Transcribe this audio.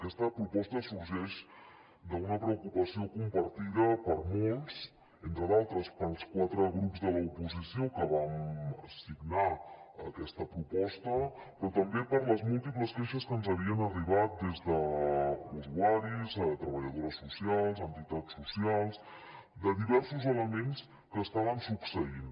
aquesta proposta sorgeix d’una preocupació compartida per molts entre d’altres pels quatre grups de l’oposició que vam signar aquesta proposta però també per les múltiples queixes que ens havien arribat des d’usuaris treballadores socials entitats socials de diversos elements que estaven succeint